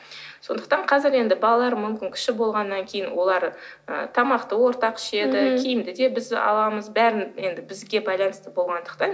сондықтан қазір енді балалар мүмкін кіші болғаннан кейін олар ы тамақты ортақ ішеді киімді де біз аламыз бәрін енді бізге байланысты болғандықтан